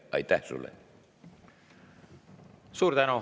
Suur tänu!